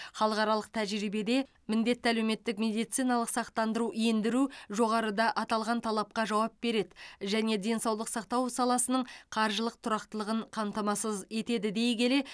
халықаралық тәжірибеде міндетті әлеуметтік медициналық сақтандыру ендіру жоғарыда аталған талапқа жауап береді және денсаулық сақтау саласының қаржылық тұрақтылығын қамтамасыз етеді дей келе